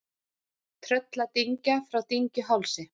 Trölladyngja frá Dyngjuhálsi